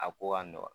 A ko ka nɔgɔn